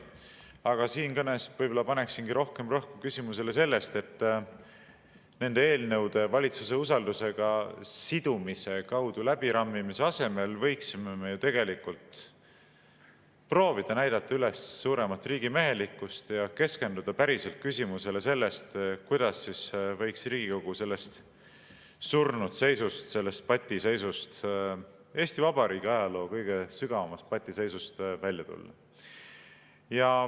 Aga siin kõnes paneksin rohkem rõhku sellele, et nende eelnõude valitsuse usaldusega sidumise kaudu läbirammimise asemel võiksime me tegelikult proovida näidata üles suuremat riigimehelikkust ja keskenduda päriselt küsimusele, kuidas võiks Riigikogu sellest surnud seisust, sellest patiseisust, Eesti Vabariigi ajaloo kõige sügavamast patiseisust välja tulla.